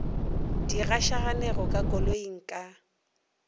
di gašaganego ka koloing ka